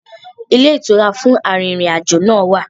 Ilé ìtura fún arìnrìn-àjò náà wà.